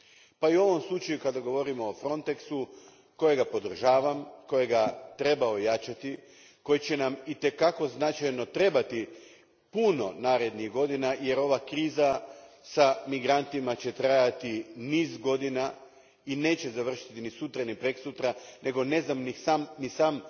Pa i u ovom slučaju kada govorimo o Frontexu, koji podržavam, koji treba ojačati, koji će nam i te kako značajno trebati puno narednih godina, jer će ova kriza s migrantima trajati niz godina i neće završiti ni sutra ni prekosutra nego ne znam ni sam